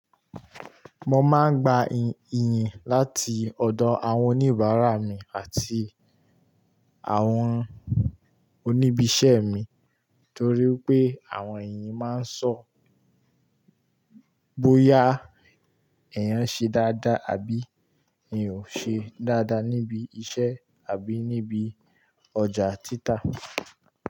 Mo máa ń gba iyìn láti ọ̀dọ̀ àwọn oníbàárà mi àti àwọn oníbi iṣẹ́ mi torí pé àwọn èèyàn máa sọ bóyá ẹ̀eyàn ṣe dáadáa àbí eeyan ò ṣe dáadáa níbi iṣẹ́ àbí níbi ọjà títà.